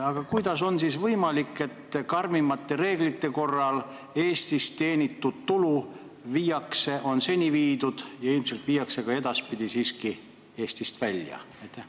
Aga kuidas on siis võimalik, et hoolimata karmimatest reeglitest on Eestis teenitud tulu seni viidud ja ilmselt viiakse ka edaspidi siiski Eestist välja?